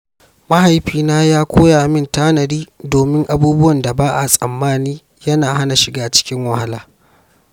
Mahaifina ya koya min yin tanadi domin abubuwan da ba a tsammani yana hana shiga cikin wahala.